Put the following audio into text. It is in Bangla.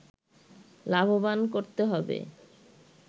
লাভবান করতে হবে